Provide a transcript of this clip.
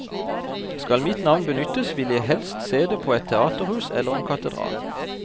Skal mitt navn benyttes, ville jeg helst se det på et teaterhus eller en katedral.